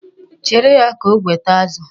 Chere ya ka o weta azụ.